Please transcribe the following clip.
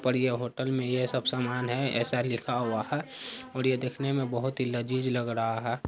पर ये होटल में ये सब सामान है ऐसा लिखा हुआ है और ये देखने में बहुत ही लजीज लग रहा है।